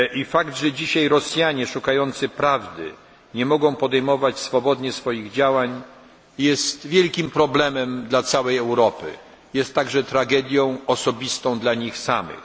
Fakt, że dzisiaj Rosjanie szukający prawdy nie mogą podejmować swobodnie swoich działań jest wielkim problemem dla całej Europy, jest także tragedią osobistą dla nich samych.